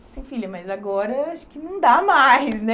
Falei assim, filha, mas agora acho que não dá mais, né?